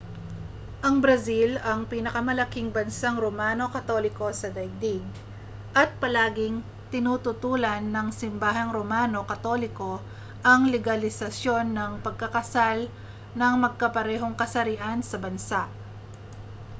ang brazil ang pinakamalaking bansang romano katoliko sa daigdig at palagiang tinututulan ng simbahang romano katoliko ang legalisasyon ng pagkakasal ng magkaparehong kasarian sa bansa